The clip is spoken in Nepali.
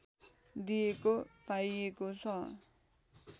दिइएको पाइएको छ